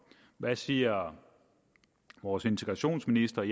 hvad siger vores integrationsminister